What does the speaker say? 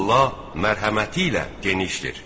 Allah mərhəməti ilə genişdir.